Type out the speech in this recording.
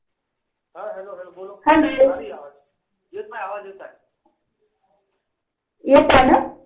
येत आहे ना.